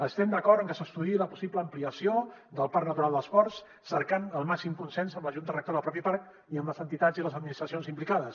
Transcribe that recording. estem d’acord en que s’estudiï la possible ampliació del parc natural dels ports cercant el màxim consens amb la junta rectora del propi parc i amb les entitats i les administracions implicades